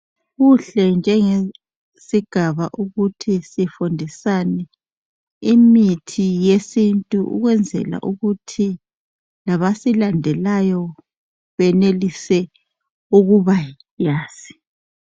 Kuhle njengesigaba ukuthi sifundisane imithi yesintu ukwenzela ukuthi labasilandelayo benelise ukuba yazi.